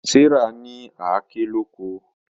Serah ní Àáké lọkọ.